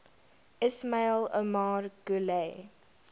ismail omar guelleh